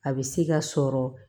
A bɛ se ka sɔrɔ